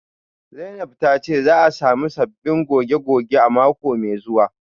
Zainab tace za'a samu sabbin goge-goge a mako mai zuwa